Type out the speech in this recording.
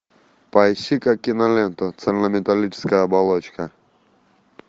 поищи ка киноленту цельнометаллическая оболочка